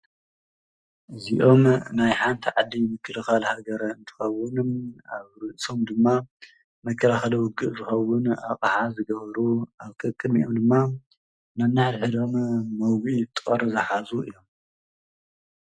እዚኦም ናይ ሓንቲ ዓዲ ምክልካል ሃገር እንትኮኑ ኣብ ርእሶም ድማ መከላከሊ ውግእ ዝከውን ኣቅሓ ዝገበሩ ኣብ ቀቅድሚኦም ድማ ነናይ ሕድሕዶም መውጊኢ ጦር ዝሓዙ እዮም፡፡